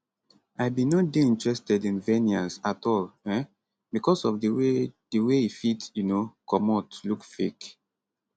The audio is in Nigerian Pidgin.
i bin no dey interested in veneers at all um becos of di way di way e fit um comot look fake